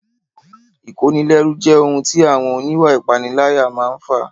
Ìkónilẹ́rú jẹ́ ohun tí àwọn oníwà ìpániláyà máa n fà